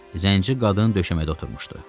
Zənci qadın döşəmədə oturmuşdu.